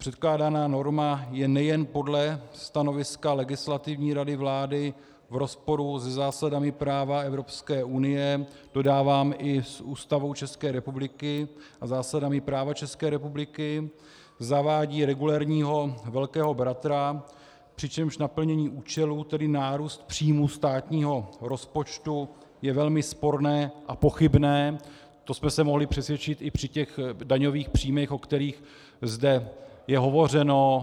Předkládaná norma je nejen podle stanoviska Legislativní rady vlády v rozporu se zásadami práva Evropské unie, dodávám i s Ústavou České republiky a zásadami práva České republiky, zavádí regulérního velkého bratra, přičemž naplnění účelu, tedy nárůst příjmů státního rozpočtu, je velmi sporné a pochybné - to jsme se mohli přesvědčit i při těch daňových příjmech, o kterých zde je hovořeno.